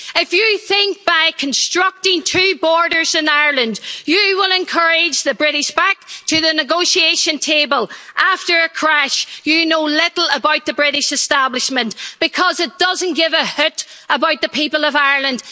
If you think by constructing two borders in Ireland you will encourage the British back to the negotiation table after a crash you know little about the British establishment, because it doesn't give a hoot about the people of Ireland.